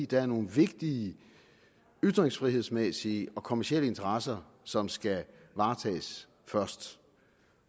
der er nogle vigtige yttringsfrihedsmæssige og kommercielle interesser som skal varetages først